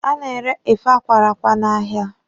A na-ere efe a kwara akwa n'ahịa.